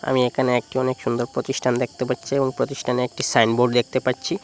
আমি এখানে একটি অনেক সুন্দর প্রতিষ্ঠান দেখতে পাচ্ছি এবং প্রতিষ্ঠানে একটি সাইনবোর্ড দেখতে পাচ্ছি।